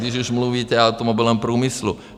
Když už mluvíte o automobilovém průmyslu.